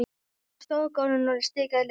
Hann stóð á gólfinu og stikaði léreft.